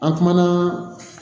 An kumana